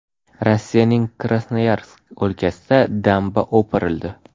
Rossiyaning Krasnoyarsk o‘lkasida damba o‘pirildi.